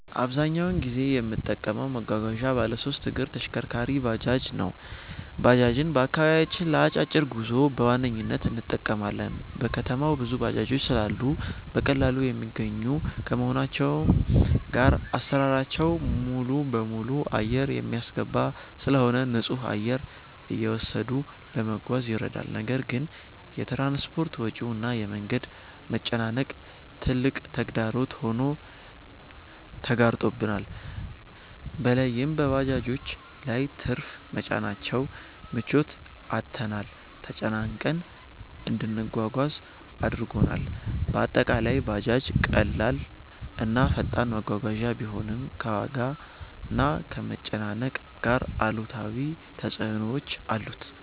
አብዛኛውን ጊዜ የምጠቀመው መጓጓዣ ባለሶስት እግር ተሽከርካሪ(ባጃጅ) ነው። ባጃጅን በአከባቢያችን ለ አጫጭር ጉዞ በዋነኝነት እንጠቀማለን። በከተማው ብዙ ባጃጆች ስላሉ በቀላሉ የሚገኙ ከመሆናቸውም ጋር አሰራራቸው ሙሉበሙሉ አየር የሚያስገባ ስለሆነ ንፁህ አየር እየወሰዱ ለመጓዝ ይረዳል። ነገር ግን የ ትራንስፖርት ወጪው እና የ መንገድ መጨናነቅ ትልቅ ተግዳሮት ሆኖ ተጋርጦብናል። በለይም በባጃጆች ላይ ትርፍ መጫናቸው ምቾት አጥተንና ተጨናንቀን እንድንጓጓዝ አድርጎናል። በአጠቃላይ ባጃጅ ቀላል እና ፈጣን መጓጓዣ ቢሆንም፣ ከዋጋና ከመጨናነቅ ጋር አሉታዊ ተፅዕኖዎች አሉት።